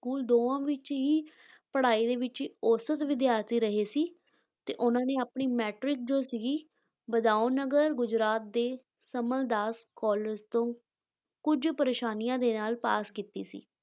School ਦੋਵਾਂ ਵਿੱਚ ਹੀ ਪੜ੍ਹਾਈ ਦੇ ਵਿੱਚ ਔਸਤ ਵਿਦਿਆਰਥੀ ਰਹੇ ਸੀ, ਤੇ ਉਹਨਾਂ ਨੇ ਆਪਣੀ matric ਜੋ ਸੀਗੀ, ਬਦਾਓਨਗਰ ਗੁਜਰਾਤ ਦੇ ਸਮਲ ਦਾਸ college ਤੋਂ ਕੁਝ ਪ੍ਰੇਸ਼ਾਨੀਆਂ ਦੇ ਨਾਲ ਪਾਸ ਕੀਤੀ ਸੀ,